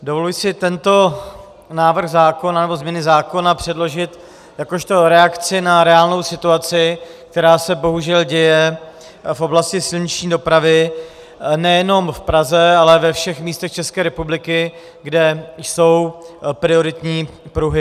Dovoluji si tento návrh zákona, nebo změny zákona předložit jakožto reakci na reálnou situaci, která se bohužel děje v oblasti silniční dopravy nejenom v Praze, ale ve všech místech České republiky, kde jsou prioritní pruhy.